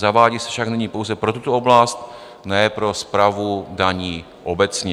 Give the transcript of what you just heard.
Zavádí se však nyní pouze pro tuto oblast, ne pro správu daní obecně.